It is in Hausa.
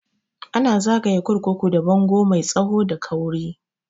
Ana zagaye kurkuku da bango mai tsawo da kauri